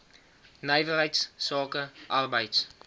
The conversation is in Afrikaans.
nywerheids sake arbeids